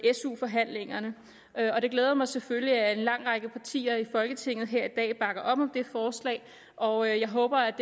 su forhandlingerne og det glæder mig selvfølgelig at en lang række partier i folketinget her i dag bakker op om det forslag og jeg håber